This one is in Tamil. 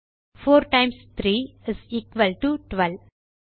4 டைம்ஸ் 3 இஸ் எக்குவல் டோ 12